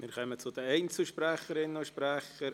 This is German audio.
Wir kommen zu den Einzelsprecherinnen und -sprechern.